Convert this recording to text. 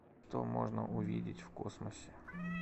что можно увидеть в космосе